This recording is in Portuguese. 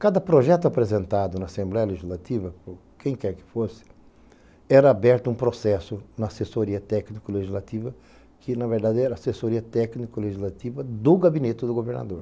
Cada projeto apresentado na Assembleia Legislativa, quem quer que fosse, era aberto um processo na assessoria técnico-legislativa, que na verdade era a assessoria técnico-legislativa do gabinete do governador.